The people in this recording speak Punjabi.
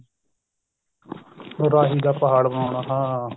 ਰਾਹੀ ਦਾ ਪਹਾੜ ਬਣਾਉਣਾ ਹਾਂ